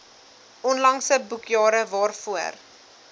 onlangse boekjare waarvoor